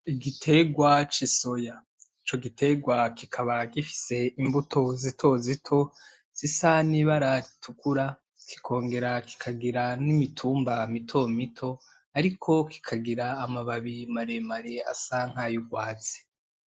Igiterwa cisoya ,ico giterwa kikaba gifise imbuto zitozito zisa n'ibara ritukura, kikongera kikongera kikagira n'imitumba mitomito ariko kikagira amababi maremare asa nkay'urwatsi